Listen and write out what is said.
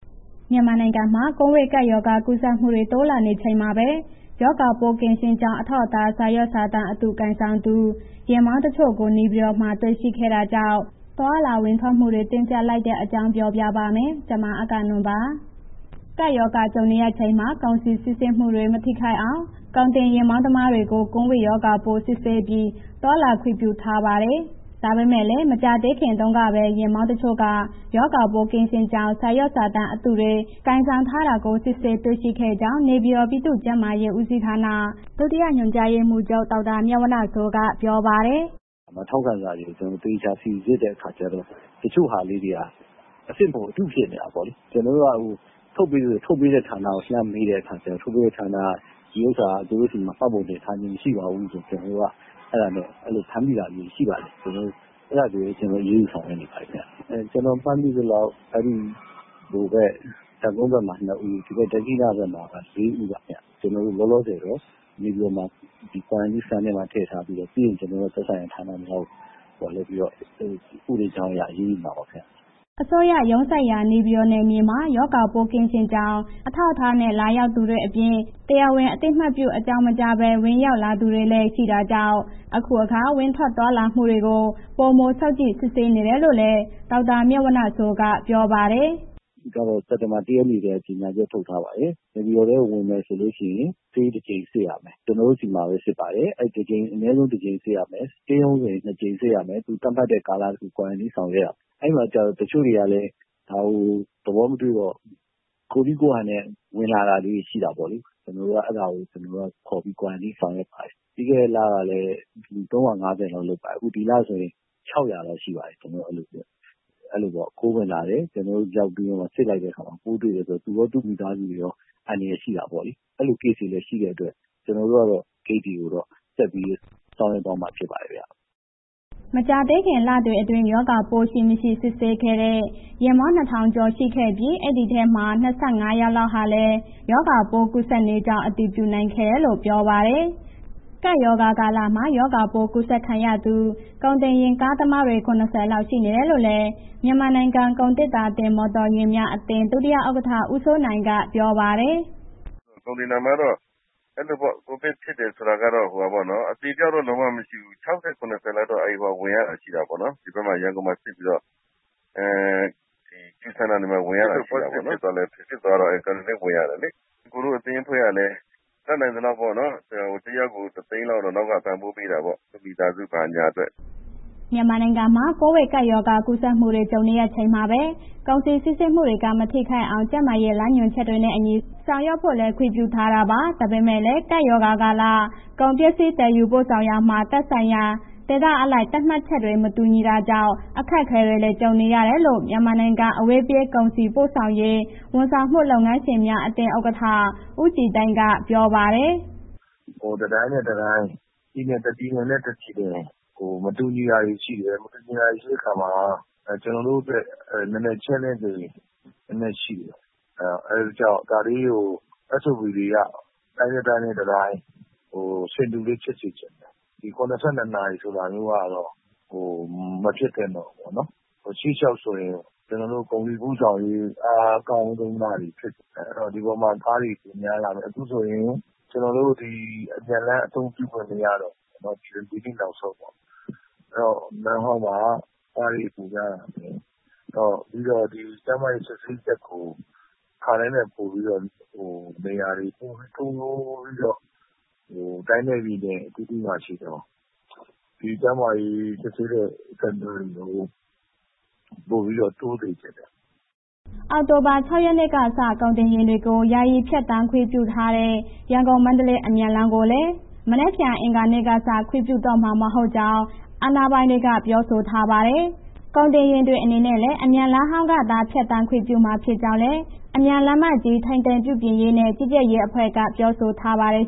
မြန်မာနိုင်ငံမှာ ကိုဗစ်ကပ်ရောဂါ ကူးစက်မှုတွေ တိုးလာနေချိန်မှာပဲ ရောဂါပိုးကင်းရှင်းကြောင်း အထောက်အထား စာရွက်စာတမ်းအတု ကိုင်ဆောင်သူ ယာဉ်မောင်းတချို့ကို နေပြည်တော်မှာ တွေ့ရှိခဲ့တာကြောင့် သွားလာဝင်ထွက်မှုတွေ တင်းကြပ်လိုက်တဲ့အကြောင်း တင်ပြပါမယ်။ ဗွီအိုအေမြန်မာပိုင်း သတင်းထောက် မအဂ္ဂနွန်က သတင်းပေးပို့ထားပါတယ်။ ကပ်ရောဂါကြုံနေရချိန်မှာ ကုန်စည်စီးဆင်းမှုတွေ မထိခိုက်အောင် ကုန်တင်ယာဉ်မောင်းသမားတွေကို ကိုဗစ်ရောဂါပိုး စစ်ဆေးပြီး သွားလာခွင့်ပြုထားပါတယ်။ ဒါပေမဲ့လည်း မကြာသေးခင်တုန်းကပဲ ယာဉ်မောင်းတချို့က ရောဂါပိုး ကင်းရှင်းကြောင်း စာရွက်စာတမ်း အတုတွေ ကိုင်ဆောင်ထားတာကို စစ်ဆေးတွေ့ရှိခဲ့ကြောင်းနေပြည်တော် ပြည်သူ့ကျန်းမာရေးဦးစီးဌာန ဒုတိယညွှန်ကြားရေးမှူးချုပ် ဒေါက်တာမြတ်ဝဏ္ဏစိုးက ပြောပါတယ်။ “ထောက်ခံစာတွေ ကျနော်တို့ သေချာစိစစ်တဲ့ အခါကျတော့ တချို့ဟာလေးတွေက အစစ်မဟုတ်ဘူး၊ အတုဖြစ်နေတာပေါ့လေ။ ကျနော်က ထုတ်ပေးတဲ့ ဌာနကို လှမ်းတဲ့အခါကျတော့ ထုတ်ပေးတဲ့ဌာနက သူတို့ဆီမှာ မှတ်ပုံတင်ထားခြင်း မရှိပါဘူးဆိုတော့ ကျနော်တို့က အဲ့ဒီလို ဖမ်းမိတာမျိုး ရှိပါတယ်။ အဲ့ဒါဆိုရင် ကျနော်တို့ အရေးယူဆောင်ရွက်နေပါတယ်ဗျ။ ကျနော် မှတ်မိသလောက် တပ်ကုန်းဘက်မှာ နှစ်ဦး၊ ဒက္ခိဏဘက်မှာ လေးဦးပါခင်ဗျ။ လောလောဆယ်မှာ နေပြည်တော် quarantine မှာ ထည့်ထားပြီးတော့ ပြီးရင် ကျနော်တို့ သက်ဆိုင်ရာဌာနများကို လွှဲပြီးတော့ ဥပဒေကြောင်းအရ အရေးယူပါမှာပါ ခင်ဗျာ။” အစိုးရရုံးစိုက်ရာ နေပြည်တော် နယ်မြေမှာ ရောဂါပိုးကင်းရှင်းကြောင်း အထောက်အထားနဲ့ လာရောက်သူတွေအပြင်၊ တရားဝင် အသိပေး အကြောင်းမကြားဘဲ ဝင်ရောက်လာသူတွေလည်း ရှိနေတာကြောင့် အခုအခါ ဝင်ထွက်သွားလာမှုတွေကို ပိုမိုစောင့်ကြည့် စစ်ဆေးနေတယ်လို့လည်း ဒေါက်တာမြတ်ဝဏ္ဏစိုးက ပြောပါတယ်။ “စက်တင်ဘာ ၁ ရက်နေ့ကတည်းက ကြေညာချက်ထုတ်ထားပါတယ်။ နေပြည်တော်ထဲမှာ ဝင်မယ်ဆိုရင် ဆေးတစ်ချိန်စစ်ရမယ်။ ကျနော်တို့ဆီမှာ စစ်ပါတယ်။ အနည်းဆုံးတစ်ချိန်စစ်ရမယ်၊ stay home ဝင်ရင် နှစ်ကြိမ်စစ်ရမယ်။ သတ်မှတ်တဲ့ ကာလ quarantine ဆောင်ရွက်ရမယ်၊ အဲ့ဒါကို တချို့တွေကလည်း ဒါကို သဘောမတွေ့ဘဲ ကိုယ့်နည်းကိုယ့်ဟာနဲ့ ဝင်လာတာလေး ရှိတယ်ပေါ့လေ။ ကျနော်တို့က အဲ့ဒါကို ခေါ်ပြီး quarantine ဆောင်ရွက်ပါတယ်။ ပြီးခဲ့တဲ့ လကလည်း ၃၅၀ လောက်လုပ်ပါတယ်။ အခုဒီလဆိုရင် ၆၀၀ လောက်ရှိပါတယ်။ အဲ့ဒီလိုပေါ့ ခိုးဝင်လာတယ်။ ကျနော်တို့ စစ်လိုက်တဲ့အခါမှာ ပို့တွေ့တယ်။ သူရော၊ သူ့မိသားစုရော အန္တရာယ်ရှိတာပေါ့။ အဲ့ဒီလို case ရှိတဲ့အတွက် ကျနော်တို့ကတော့ ဂိတ်တွေကိုတော့ ဆက်ပြီးဆောင်ရွက်သွားမှာ ဖြစ်ပါတယ်ခင်ဗျာ။” မကြာသေးခင် လတွေအတွင်း ရောဂါပိုးရှိ၊ မရှိ စစ်ဆေးခဲ့တဲ့ ယာဉ်မောင်း ၂,၀၀၀ ကျော် ရှိခဲ့ပြီး ဒီအထဲက ၂၅ ယောက်လောက်ဟာလည်း ရောဂါကူးစက်နေကြောင်း အတည်ပြုနိုင်ခဲ့တယ်လို့ ပြောပါတယ်။ ကပ်ရောဂါကာလမှာ ရောဂါပိုး ကူးစက်ခံရသူ ကုန်တင်ယာဉ်ကားသမား ၇၀ လောက် ရှိနေတယ်လို့လည်း မြန်မာနိုင်ငံ ကုန်သေတ္တာတင်မော်တော်ယာဉ်များ အသင်း ဒုတိယဥက္ကဋ္ဌ ဦးစိုးနိုင်က ပြောပါတယ်။ “ကုန်သေတ္တာမှာတော့ အဲဒီလိုပေ့ါ... ကိုဗစ်ဖြစ်တယ်ဆိုတာကတော့ အသေအပျောက်တော့ လုံးဝမရှိဘူး။ ၆၀၊ ၇၀ လောက်တော့ ဝင်ရတာရှိတာပေါ့နော်။ ရန်ကုန်မှာ စစ်ပြီးတော့ quarantine ဝင်ရတာ ရှိတယ်ပေါ့နော်။ စစ်လို့ positive ဖြစ်သွားလို့ quarantine ဝင်ရတယ်လေ။ ကိုယ့်အသင်းအဖွဲ့ကလည်း တတ်နိုင်သလောက်ပေါ့နော်... တစ်ယောက်ကို ၁၀၀,၀၀၀ လောက်တော့ ပံ့ပိုးပေးတာပေါ့။ သူ့မိသားစုဘာညာအတွက်ပေါ့။” မြန်မာနိုင်ငံမှာ ကိုဗစ်ကပ်ရောဂါ ကူးစက်မှုတွေ ကြုံနေရချိန်မှာပဲ ကုန်စည်စီးဆင်းမှုတွေမှာ မထိခိုက်အောင် ကျန်းမာရေး လမ်းညွှန်ချက်တွေနဲ့အညီ ဆောင်ရွက်ဖို့လည်း ခွင့်ပြုထားတာပါ။ ဒါပေမဲ့လည်း ကပ်ရောဂါကာလ ကုန်ပစ္စည်း သယ်ယူပို့ဆောင်ရာမှာ သက်ဆိုင်ရာ ဒေသအလိုက် သတ်မှတ်ချက်တွေ မတူတာကြောင့် အခက်အခဲတွေလည်း ကြုံနေရတယ်လို့ မြန်မာနိုင်ငံ အဝေးပြေး ကုန်စည်ပို့ဆောင်ရေး ဝန်ဆောင်မှုလုပ်ငန်းရှင်များအသင်း ဥက္ကဋ္ဌ ဦးကြည်သိန်းက ပြောပါတယ်။ “တစ်တိုင်းနဲ့ တစ်တိုင်း၊ တစ်ပြည်နဲ့ တစ်ပြည်နယ် မတူညီတာတွေ ရှိတယ်။ မတူညီတာတွေရှိတဲ့ အခါမှာ ကျနော်တို့တွက် challenge တွေ နည်းနည်းရှိတယ်။ SOP တွေက တိုင်းနဲ့ တစ်တိုင်း ဆင်တူလေးဖြစ်စေချင်တယ်။ ၇၂ နာရီဆိုတာမျိုးကတော့ မဖြစ်သင့်တော့ဘူးပေါ့နော်။ ရှေ့လျှောက်ဆိုရင် ကျနော်တို့ ကုန်စည်ပို့ဆောင်ရေး အားကောင်းလာတဲ့ဟာဖြစ်စေချင်တယ်။ ဒီအပေါ်မှာ ကားတွေ များလာမယ်။ အခုဆိုရင် အမြန်လမ်းအသုံးပြုခွင့် မရတော့ဘူး၊ ဒီနေ့နောက်ဆုံးပေါ့။ အဲ့ဒီတော့ လမ်းဟောင်းမှာ ကားတွေ ပိုများလာမယ်။ ကျန်းမာရေးစစ်ဆေးချက်ကို အခါတိုင်းထက်ပိုပြီးတော့ နေရာတွေ ပိုပြီးတိုးပြီးတော့ တိုင်းနဲ့ ပြည်နယ်အသီးသီးမှာ ရှိတဲ့ ကျန်းမာရေးစစ်ဆေးတဲ့ center တွေ ပိုပြီး တိုးစေချင်တယ်။” အောက်တိုဘာ ၆ ရက်နေ့ကစ ကုန်တင်ယာဉ်တွေကို ယာယီဖြတ်သန်းခွင့်ပြုထားတဲ့ ရန်ကုန်-မန္တလေး အမြန်လမ်းကိုလည်း မနက်ဖြန် အင်္ဂါနေ့ကစ ခွင့်ပြုတော့မှာ မဟုတ်ကြောင်း အာဏာပိုင်တွေက ပြောဆိုထားပါတယ်။ ကုန်တင်ယာဉ်တွေအနေနဲ့ အမြန်လမ်းဟောင်းကသာ ဖြတ်သန်းခွင့်ပြုမှာ ဖြစ်ကြောင်းလည်း အမြန်လမ်းကြီး ထိန်းသိမ်းပြုပြင်ရေးနဲ့ ကြီးကြပ်ရေးအဖွဲ့က ပြောဆိုထားပါတယ်